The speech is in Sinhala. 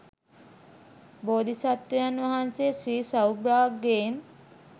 බෝධි සත්වයන් වහන්සේ ශ්‍රී සෞභාග්‍යයෙන්